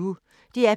DR P1